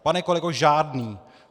Pane kolego, žádný.